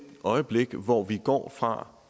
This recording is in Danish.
øjeblik hvor vi går fra